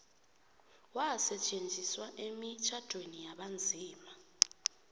wasetjenziswa emitjhadweni yabanzima